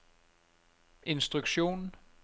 instruksjon